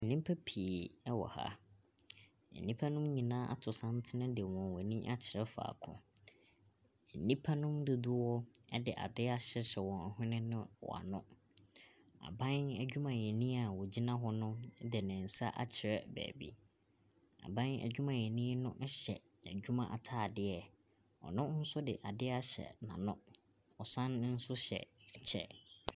Nnipa pii wɔ ha. Nnipa no nyinaa ato santene de wɔn ani akyerɛ faako. Nnipa no mu dodoɔ de adeɛ ahyehyɛ wɔn hwene ne wɔn ano. Aban adwumayɛni a ɔgyina hɔ no de ne nsa akyerɛ baabi. Aban adwumayɛni no hyɛ adwuma atadeɛ. Ɔno nso de adeɛ ahyɛ n'ano, ɔsan nso hyɛ kyɛ.